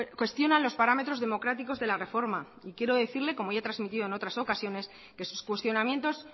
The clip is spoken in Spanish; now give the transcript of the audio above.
cuestionan los parámetros democráticos de la reforma y quiero decirle como ya he transmitido en otras ocasiones que sus cuestionamientos